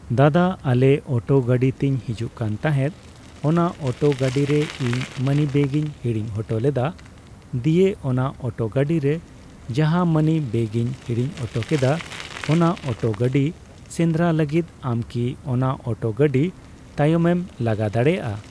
ᱫᱟᱫᱟ ᱟᱞᱮ ᱚᱴᱳ ᱜᱟᱰᱤ ᱛᱤᱧ ᱦᱤᱡᱩᱜ ᱠᱟᱱ ᱛᱟᱦᱮᱸᱫ ᱾ ᱚᱱᱟ ᱚᱴᱳ ᱜᱟᱰᱤ ᱨᱮ ᱤᱧ ᱢᱟᱱᱤᱵᱮᱜᱽᱤᱧ ᱦᱤᱲᱤᱧ ᱦᱚᱴᱚ ᱞᱮᱫᱟ ᱾ ᱫᱤᱭᱮ ᱚᱱᱟ ᱚᱴᱮ ᱜᱟᱰᱤ ᱨᱮ ᱡᱟᱦᱟᱸ ᱢᱟᱱᱤ ᱵᱮᱜᱤᱧ ᱦᱤᱲᱤᱧ ᱦᱚᱴᱚ ᱠᱮᱫᱟ ᱚᱱᱟ ᱚᱴᱳ ᱜᱟᱰᱤ ᱥᱮᱸᱫᱽᱨᱟ ᱞᱟᱜᱤᱫ ᱟᱢᱠᱤ ᱚᱱᱟ ᱚᱴᱳ ᱜᱟᱰᱤ ᱛᱟᱭᱚᱢᱮᱢ ᱞᱟᱜᱟ ᱫᱟᱲᱮᱭᱟᱜᱼᱟ?